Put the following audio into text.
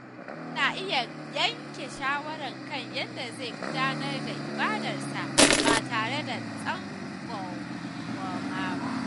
Mutum na iya yanke shawara kan yadda zai gudanar da ibadarsa ba tare da tsangwama ba.